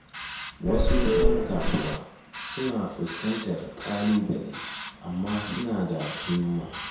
Wasu 'yan kasuwa suna fuskantar ƙalubale amma suna da himma